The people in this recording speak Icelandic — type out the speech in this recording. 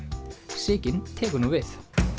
Sigyn tekur nú við